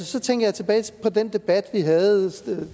så tænkte jeg tilbage på den debat vi havde